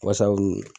Wasa u kun